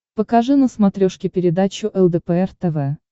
покажи на смотрешке передачу лдпр тв